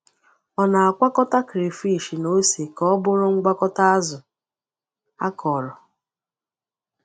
Ọ na-akwọkọta crayfish na ose ka ọ bụrụ ngwakọta azụ akọrọ.